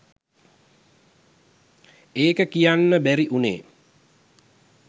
ඒක කියන්න බැරි වුණේ